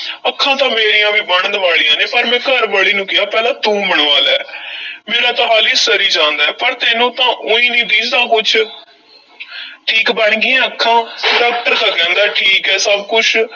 ਅੱਖਾਂ ਤਾਂ ਮੇਰੀਆਂ ਵੀ ਬਣਨ ਵਾਲੀਆਂ ਨੇ ਪਰ ਮੈਂ ਘਰਵਾਲੀ ਨੂੰ ਕਿਹਾ, ਪਹਿਲਾਂ ਤੂੰ ਬਣਵਾ ਲੈ ਮੇਰਾ ਤਾਂ ਹਾਲੀਂ ਸਰੀ ਜਾਂਦਾ ਏ, ਪਰ ਤੈਨੂੰ ਤਾਂ ਊਈਂ ਨਹੀਂ ਦੀਂਹਦਾ ਕੁਛ ਠੀਕ ਬਣ ਗਈਆਂ ਅੱਖਾਂ doctor ਤਾਂ ਕਹਿੰਦਾ ਠੀਕ ਐ, ਸਭ ਕੁਛ।